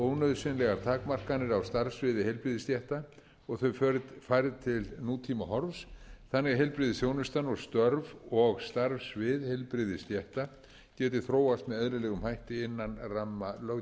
ónauðsynlegar takmarkanir á starfssviði heilbrigðisstétta og þau færð til nútímahorfs þannig að heilbrigðisþjónustan og störf og starf svið heilbrigðisstétta geti þróast með eðlilegum hætti innan ramma löggjafar